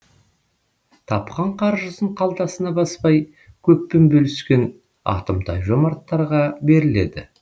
тапқан қаржысын қалтасына баспай көппен бөліскен атымтай жомарттарға беріледі